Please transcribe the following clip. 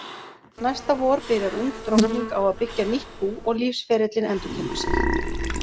Næsta vor byrjar ung drottning á að byggja nýtt bú og lífsferillinn endurtekur sig.